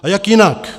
A jak jinak?